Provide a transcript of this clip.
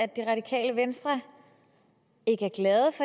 det radikale venstre